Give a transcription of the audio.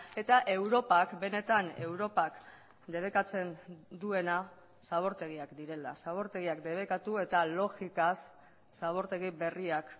eta europak benetan europak debekatzen duena zabortegiak direla zabortegiak debekatu eta logikaz zabortegi berriak